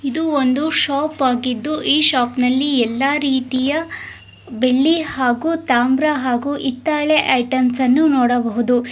ಇದು ಒಂದು ಶಾಪ್ ಆಗಿದ್ದು ಈ ಶಾಪ್ ನಲ್ಲಿ ಯಲ್ಲಾ ರೀತಿಯ ಬೆಳ್ಳಿ ಹಾಗು ತಾಂಬರಾ ಹಾಗು ಇತ್ತಾಳೆ ಐಟೆಮ್ಸ ಅನ್ನು ನೋಡಬಹುದು.